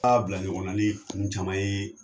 Aa bila ɲɔgɔn na ni caman ye